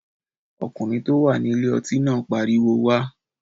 Ọkùnrin tó wà ní ilé ọtí náà pariwo wá!